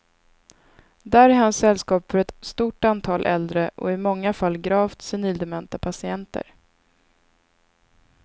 Där är han sällskap för ett stort antal äldre och i många fall gravt senildementa patienter.